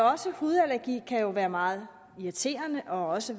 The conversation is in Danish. også hudallergi kan jo være meget irriterende og også